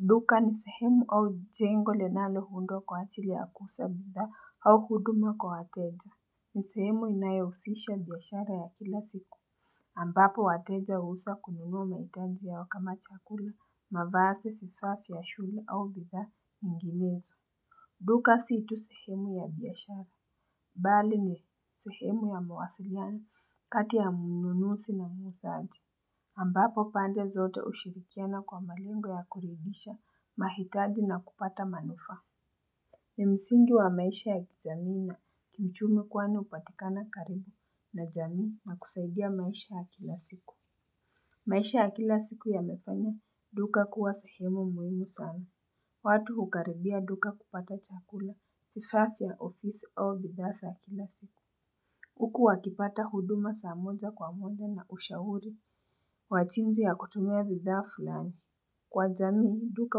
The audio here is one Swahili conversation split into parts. Duka ni sehemu au jengo linalo undwa kwa ajili ya kuuza bidhaa au huduma kwa wateja. Ni sehemu inayohusisha biashara ya kila siku. Ambapo wateja huweza kununuwa mahitaji yao kama chakula, mavazi, vifaa vya shule au bidha nyinginezo. Duka si tu sehemu ya biashara. Bali ni sehemu ya mawasiliano kati ya mununuzi na muuzaaji. Ambapo pande zote ushirikiana kwa malengo ya kuridhisha mahitaji na kupata manufaa ni msingi wa maisha ya kijamii na kiuchumi kwani hupatikana karibu na jamii na kusaidia maisha ya kila siku maisha ya kila siku yamefanya duka kuwa sehemu muhimu sana watu hukaribia duka kupata chakula vifaa vya ofisi au bidhaa za kila siku huku wakipata huduma za moja kwa moja na ushauri kWa jinzi ya kutumia bidhaa fulani. Kwa jamii, duka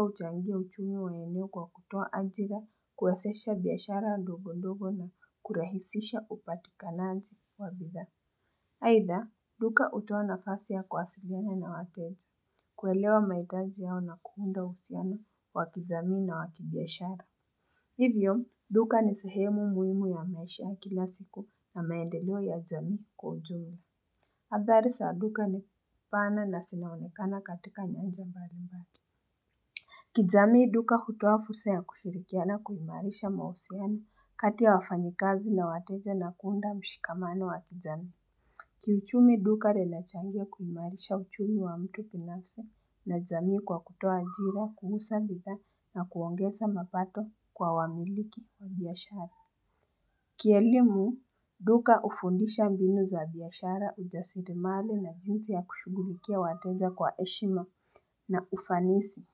huchangia uchumi wa eneo kwa kutoa ajira, kuwezesha biashara ndogo ndogo na kurahisisha upatikanaji wa bidha. Aidha, duka hutoa nafasi ya kuwasiliana na wateja. Kuelewa mahitaji yao na kuunda uhusiano wakijamii na wakibiashara. Hivyo duka ni sehemu muhimu ya maisha ya kila siku na maendeleo ya jamii kwa ujumla. hAdhari za duka ni pana na zinaonekana katika nyanja mbalimbali. Kijamii duka hutoa fursa ya kushirikiana kuimarisha mahusiano kati ya wafanyikazi na wateja na kuunda mshikamano wa ki jamii. Kiuchumi duka linachangia kuimarisha uchumi wa mtu binafsa na jamii kwa kutoa ajira, kuuza bidhaa na kuongeza mapato kwa wamiliki wa biashara. Kielimu duka hufundisha mbinu za biashara ujasiri mali na jinsi ya kushughulikia wateja kwa heshima na ufanisi.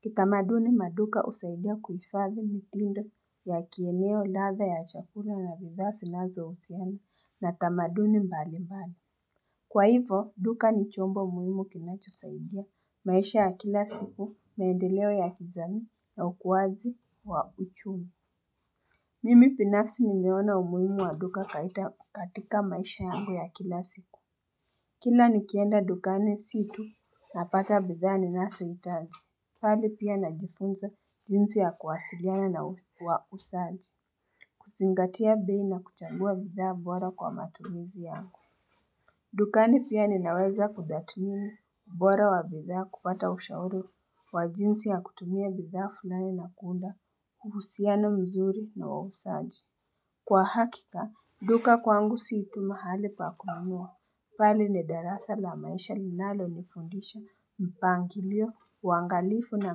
Kitamaduni maduka husaidia kuhifadhi mitindo ya kieneo ladha ya chakula na bidhaa zinazo husiana na tamaduni mbali mbali. Kwa hivyo duka ni chombo muhimu kinacho saidia maisha ya kila siku maendeleo ya kijamii na ukuwaji wa uchumi Mimi binafsi nimeona umuhimu wa duka kaita katika maisha yangu ya kila siku Kila nikienda dukani situ na pata bidhaa ni nazo hitaji bali pia najifunza jinsi ya kuwasiliana na wauzaji kuzingatia bei na kuchagua bidhaa bora kwa matumizi yangu dukani pia ninaweza kudhamini ubora wa bidhaa kupata ushauri wa jinsi ya kutumia bidhaa fulani na kuunda, uhusiano mzuri na wauzaji. Kwa hakika, duka kwangu siituma hali pa akununua. Bali ni darasa la maisha linalo ni fundisha mpangilio, uangalifu na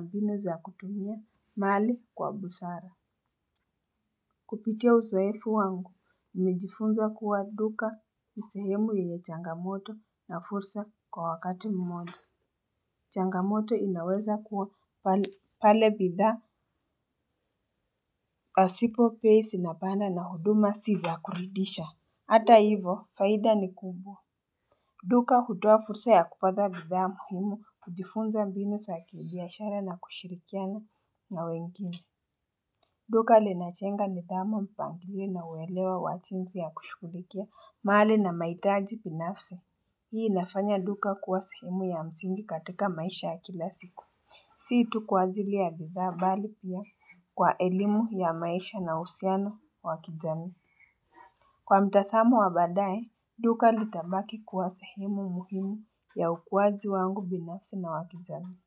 mbinu za kutumia, mali kwa busara. Kupitia uzoefu wangu, nimejifunza kuwa duka ni sehemu yenye changamoto na fursa kwa wakati mmoja. Changamoto inaweza kuwa pale bidhaa. Pasipo bei zi na panda na huduma si za kuridhisha. Hata hivo, faida ni kubwa. Duka hutoa fursa ya kupata bidhaa muhimu kujifunza mbinu za kibiashara na kushirikiana na wengine. Duka linajenga nidhamu mpangilio na uwelewa wajinsi ya kushughulikia mali na mahitaji binafsi. Hii inafanya duka kuwa sehemu ya msingi katika maisha ya kilasiku. Si tu kwa ajili ya bidhaa bali pia kwa elimu ya maisha na uhusiano wa kijamii. Kwa mtazamo wa baadaye, duka litabaki kuwa sehemu muhimu ya ukuwaji wangu binafsi na wakijamii.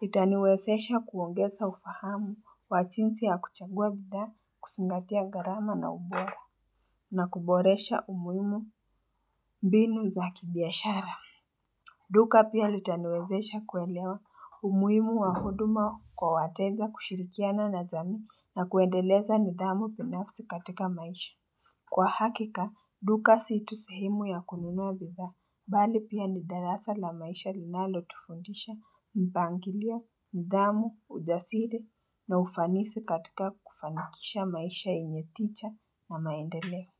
Litaniwezesha kuongeza ufahamu kwa jinsi ya kuchagua bidhaa kuzingatia gharama na ubora na kuboresha umuhimu binu za kibiashara. Duka pia litaniwezesha kuelewa umuhimu wa huduma kwa wateja kushirikiana na jamii na kuendeleza nidhamu binafsi katika maisha. Kwa hakika, duka situ sehemu ya kununua bidhaa, bali pia ni darasa la maisha linalotufundisha mipangilio, nidhamu, ujasiri na ufanisi katika kufanikisha maisha yenye tija na maendeleo.